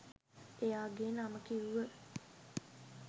එයාගෙ නම කිව්ව